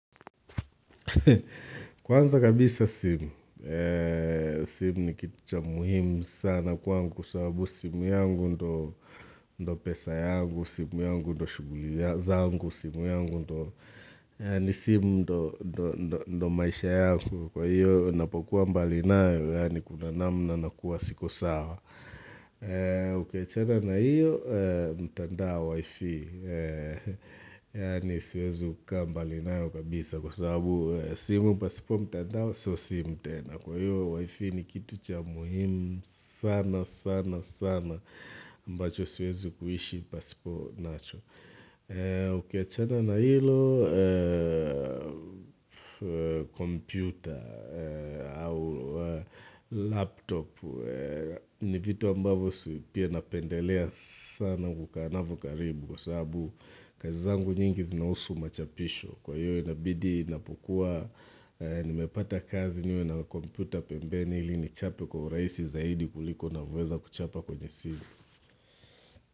Kwanza kabisa simu, simu ni kitu cha muhimu sana kwangu sababu simu yangu ndo ndo pesa yangu, simu yangu ndo shuguli zangu, simu yangu ndo ndo maisha yangu Kwa hiyo napokuwa mbali nayo, yani kuna namna nakuwa siko sawa Ukiwachana na hiyo, mtandao wifi Yani siwezi ukaa mbali nao kabisa Kwa sababu, simu pasipo mtandao, sio simu tena Kwa hiyo wifi ni kitu cha muhimu sana sana sana ambacho siwezi kuhishi pasipo nacho Ukiachana na hilo, kompyuta au laptop ni vitu ambavyo pia napendelea sana kukaa navyo karibu kwasababu kazi zangu nyingi zinausu machapisho kwa hiyo inabidi napukua nimepata kazi niwe na komputa pembeni hili nichape kwa uraisi zaidi kuliko navoweza kuchapa kwenye simu.